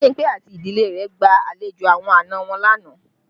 Bimpe àti ìdílé rẹ gba àlejò àwọn àna wọn lánàá